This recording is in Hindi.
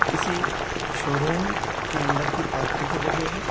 किसी शोरूम के अंदर की पार्किंग की जगह है।